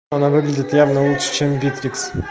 она выглядит явно лучше чем битрикс